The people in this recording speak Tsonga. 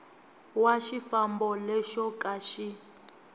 wa xifambo lexo ka xi